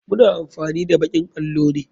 Muna amfani da bakin allo ne.